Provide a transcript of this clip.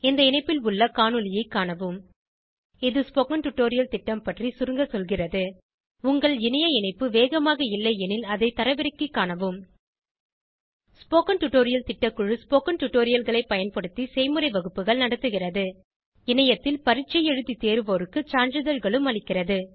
இந்த இணைப்பில் உள்ள காணொளியைக் காணவும் இது ஸ்போகன் டுடோரியல் திட்டம் பற்றி சுருங்க சொல்கிறது உங்கள் இணைய இணைப்பு வேகமாக இல்லையெனில் அதை தரவிறக்கிக் காணவும் ஸ்போகன் டுடோரியல் திட்டக்குழு ஸ்போகன் டுடோரியல்களைப் பயன்படுத்தி செய்முறை வகுப்புகள் நடத்துகிறது இணையத்தில் பரீட்சை எழுதி தேர்வோருக்கு சான்றிதழ்களும் அளிக்கிறது